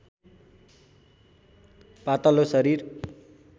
पातलो शरीर